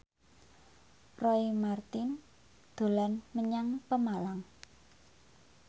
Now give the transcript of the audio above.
Roy Marten dolan menyang Pemalang